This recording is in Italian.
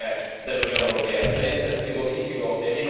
devono essere le politiche dell'Unione europea.